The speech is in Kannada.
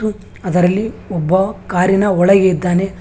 ಅದರಲ್ಲಿ ಒಬ್ಬ ಕಾರಿನ ಒಳಗೆ ಇದ್ದಾನೆ.